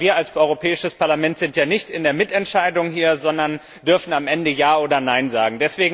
Denn wir als Europäisches Parlament sind ja hier nicht in der Mitentscheidung, sondern dürfen am Ende Ja oder Nein sagen.